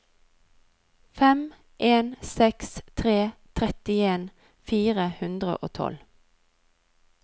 fem en seks tre trettien fire hundre og tolv